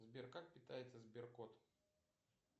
сбер как питается сберкот